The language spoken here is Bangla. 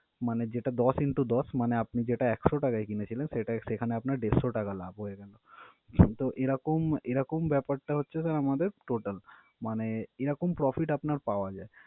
মানে যেটা দশ into দশ মানে আপনি যেটা একশো টাকায় কিনেছিলেন, সেটা সেখানে আপনার দেড়শো টাকা লাভ হয়ে গেলো। তো, এরকম এরকম ব্যাপারটা হচ্ছে sir আমাদের total মানে এরকম profit আপনার পাওয়া যায়।